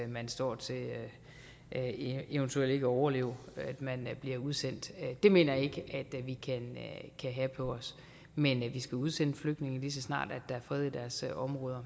man står til eventuelt ikke at overleve at man bliver udsendt det mener jeg ikke at vi kan have på os men vi skal udsende flygtninge lige så snart der er fred i deres område